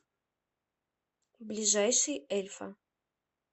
ближайший эльфа